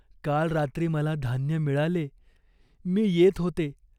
काल रात्री मला धान्य मिळाले. मी येत होते.